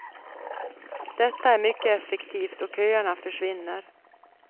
Detta är mycket effektivt och köerna försvinner.